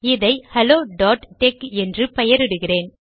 இதை ஹெலோtex என்று பெயரிடுகிறேன்